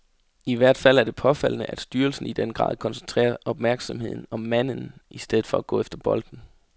I hvert fald er det påfaldende, at styrelsen i den grad koncentrerer opmærksomheden om manden i stedet for at gå efter bolden.